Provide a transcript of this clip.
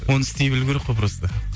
оны істей білу керек қой просто